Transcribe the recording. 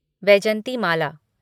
Vyjayanthimala